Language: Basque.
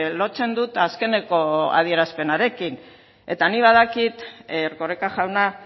lotzen dut azkeneko adierazpenarekin eta nik badakit erkoreka jauna